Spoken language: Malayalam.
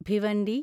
ഭിവണ്ടി